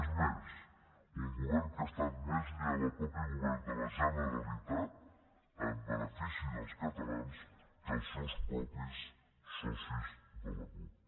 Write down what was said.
és més un govern que ha estat més lleial al mateix govern de la generalitat en benefici dels catalans que els seus propis socis de la cup